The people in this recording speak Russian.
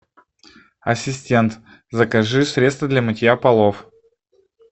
ассистент закажи средство для мытья полов